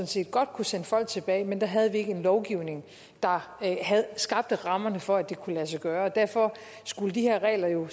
set godt kunne sende folk tilbage men da havde vi ikke en lovgivning der skabte rammerne for at det kunne lade sig gøre derfor skulle de her regler jo